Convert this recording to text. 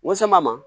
N kosɛm'a ma